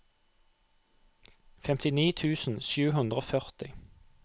femtini tusen sju hundre og førti